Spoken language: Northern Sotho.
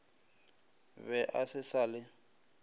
be a se sa le